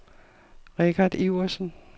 Richard Iversen